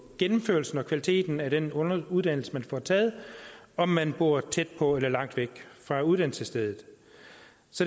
gennemførelsen og kvaliteten af den uddannelse man får taget om man bor tæt på eller langt væk fra uddannelsesstedet